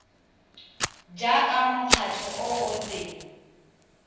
jaaka mokgatlho o o seng